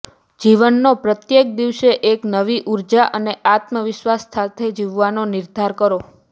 જીવનનો પ્રત્યેક દિવસે એક નવી ઉર્જા અને આત્મવિશ્વાસ સાથે જીવવાનો નિર્ધાર કરો